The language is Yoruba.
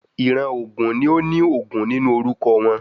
Ìran ògún ni óní Ògún nínú orúkọ wọ́n